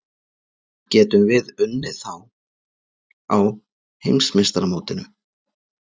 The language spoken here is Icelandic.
Getum við unnið þá á Heimsmeistaramótinu?